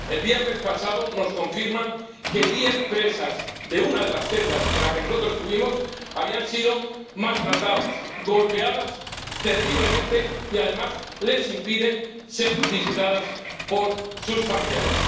El viernes pasado, nos confirman que diez presas de una de las celdas en la que nosotros estuvimos habían sido maltratadas, golpeadas terriblemente y que, además, les impiden ser visitadas por sus familiares.